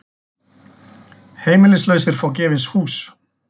Heimilislausir fá gefins hús